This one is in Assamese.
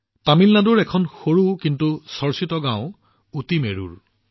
তামিলনাডুত এখন সৰু কিন্তু বিখ্যাত গাওঁ আছে উটিৰমেৰুৰ